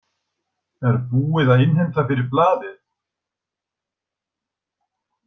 Er búið að innheimta fyrir blaðið?